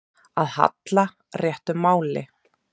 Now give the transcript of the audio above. Að halla réttu máli